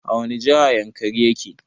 A wani jiha yankari yake?